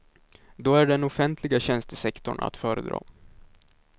Då är den offentliga tjänstesektorn att föredra.